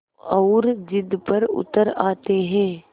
और ज़िद पर उतर आते हैं